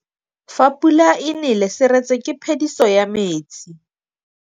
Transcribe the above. Fa pula e nelê serêtsê ke phêdisô ya metsi.